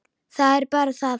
Það er bara það!